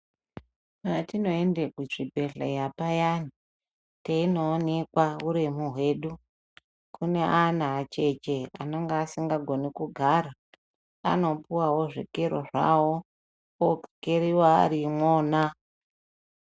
Patinoende kuzvibhedhleya payani teinoonekwa huremu hwedu, kune ana acheche anonga asingagoni kugara, anopuwawo zvikero zvavo, vokeriwa vari imwona.